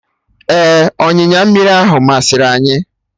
Ee, ọnyịnya mmiri ahụ masịrị anyị